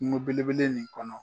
Kungo belebele nin kɔnɔ.